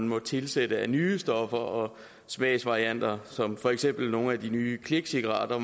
må tilsættes af nye stoffer og smagsvarianter som for eksempel i nogle af de nye klikcigaretter